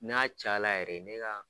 Na'a ca la yɛrɛ ne ka.